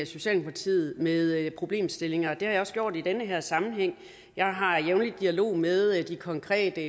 socialdemokratiet med problemstillinger det har jeg også gjort i den her sammenhæng jeg har jævnligt dialog med de konkrete